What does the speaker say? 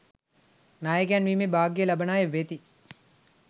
නායකයන් වීමේ භාග්‍යය ලබන අය වෙති